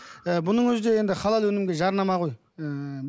ы бұның өзі де енді халал өнімге жарнама ғой ыыы